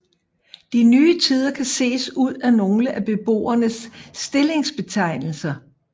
De nye tider kan ses ud af nogle af beboernes stillingsbetegnelser